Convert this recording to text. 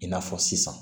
I n'a fɔ sisan